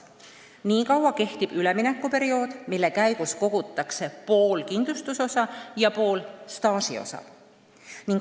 Nii kaua kehtib üleminekuperiood, mille käigus kogutakse pool kindlustusosa ja pool staažiosa.